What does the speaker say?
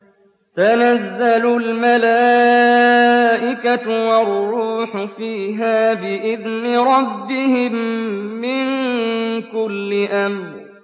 تَنَزَّلُ الْمَلَائِكَةُ وَالرُّوحُ فِيهَا بِإِذْنِ رَبِّهِم مِّن كُلِّ أَمْرٍ